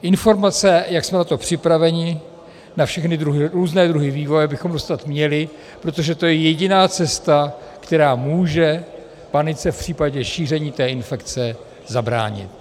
Informace, jak jsme na to připraveni, na všechny různé druhy vývoje, bychom dostat měli, protože to je jediná cesta, která může panice v případě šíření té infekce, zabránit.